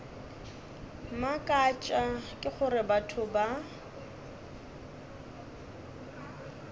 mmakatša ke gore batho ba